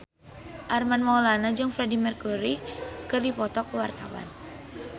Armand Maulana jeung Freedie Mercury keur dipoto ku wartawan